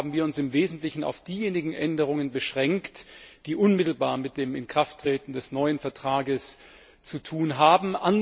Deshalb haben wir uns im Wesentlichen auf diejenigen Änderungen beschränkt, die unmittelbar mit dem Inkrafttreten des neuen Vertrags zu tun haben.